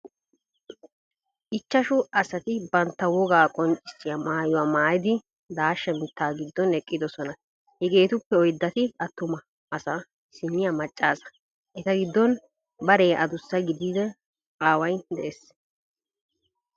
ichashu asati bantta wogaa qonccissiyaa maayuwaa maayidi daashsha mitta giddon eqqidosona. hegeetuppe oyddati attuma attuma asa aissiniyaa maca asa. eta giddon baree adussa gidida aaway de"ees.